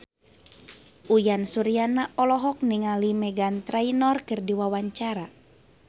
Uyan Suryana olohok ningali Meghan Trainor keur diwawancara